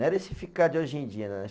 Não era esse ficar de hoje em dia